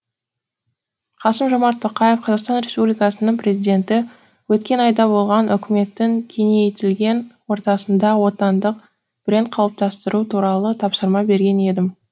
қасым жомарт тоқаев қазақстан республикасының президенті өткен айда болған үкіметтің кеңейтілген ортасында отандық бренд қалыптастыру туралы тапсырма берген едім